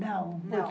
Não. não